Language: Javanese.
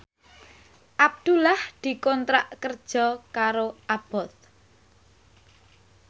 Abdullah dikontrak kerja karo Abboth